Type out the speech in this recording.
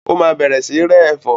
Yóò bẹ̀rẹ̀ sí rẹ ẹ̀fọ́